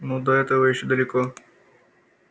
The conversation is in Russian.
ну до этого ещё далеко